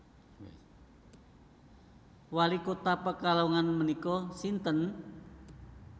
Wali kota Pekalongan menika sinten